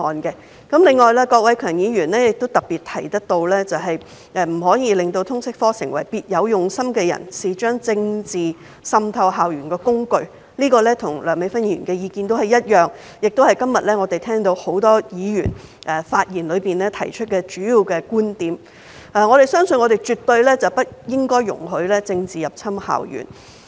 另外，郭偉强議員特別提到，不可以讓"通識科成為了別有用心的人士將政治滲透校園的工具"，這跟梁美芬議員的意見一致，也是今天很多發言議員提出的主要觀點，我們絕對不容許政治入侵校園。